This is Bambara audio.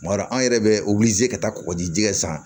Kuma dɔ la an yɛrɛ bɛ ka taa kɔgɔji kɛ san